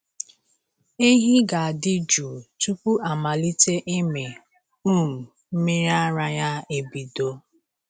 Ehi ga-adị jụụ tupu amalite ịmị um mmiri ara ya ebido.